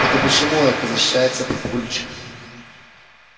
это почему это защищается папульчик